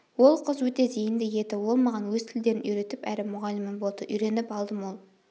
ол қыз өте зейінді еді ол маған өз тілдерін үйретіп әрі мұғалімім болды үйреніп алдым ол